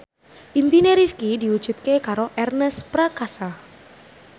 impine Rifqi diwujudke karo Ernest Prakasa